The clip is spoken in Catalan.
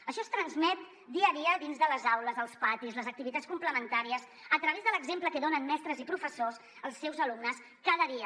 això es transmet dia a dia dins de les aules als patis a les activitats com·plementàries a través de l’exemple que donen mestres i professors als seus alumnes cada dia